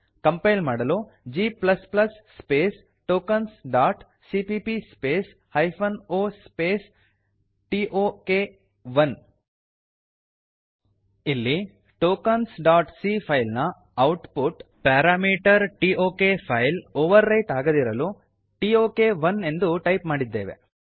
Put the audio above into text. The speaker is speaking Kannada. ಕಂಪೈಲ್ ಮಾಡಲು g space tokens dot CPP space hyphen O space T O K one ಇಲ್ಲಿ tokensಸಿಎ ಫೈಲ್ ನ ಔಟ್ಪುಟ್ ಪ್ಯಾರಾಮೀಟರ್ಟಾಕ್ ಫೈಲ್ ಒವರ್ ರೈಟ್ ಆಗದಿರಲು ಟೋಕ್1 ಎಂದು ಟೈಪ್ ಮಾಡಿದ್ದೇವೆ